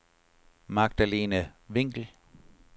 Magdalene Winkel